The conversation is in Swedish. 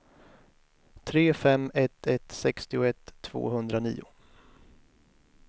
tre fem ett ett sextioett tvåhundranio